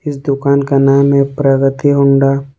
इस दुकान का नाम है प्रगति होंडा ।